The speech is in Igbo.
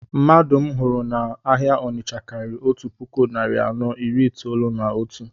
Mmadụ m hụrụ na-áhiá Ọnitsha karịrị otu puku narị anọ iri itolu na otu